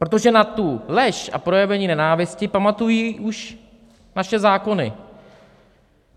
Protože na tu lež a projevení nenávisti pamatují už naše zákony.